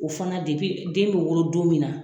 O fana den bɛ wolo don min na.